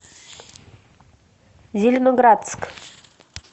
зеленоградск